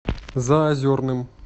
заозерным